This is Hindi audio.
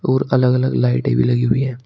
और अलग अलग लाइटें भी लगी हुई है।